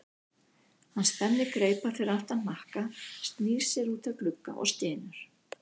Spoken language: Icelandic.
Hann spennir greipar fyrir aftan hnakka, snýr sér út að glugga og stynur.